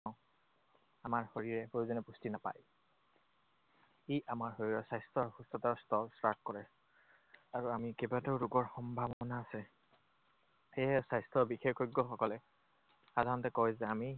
আমাৰ শৰীৰে প্ৰয়োজনীয় পুষ্টি নাপায়। ই আমাৰ শৰীৰৰ স্বাস্থ্য আৰু সুস্থতাৰ স্তৰ হ্ৰাস কৰে। আৰু আমি কেইবাটাও ৰোগৰ সম্ভাৱনা আছে। সেয়েহে স্বাস্থ্য বিশেষজ্ঞসকলে সাধাৰণতে কয় যে আমি